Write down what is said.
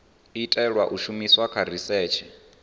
itelwa u shumiswa kha risetshe